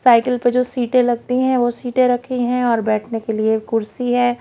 cycle पे जो सीटें लगती है वो सीटें रखी हैं और बैठने के लिए कुर्सी है--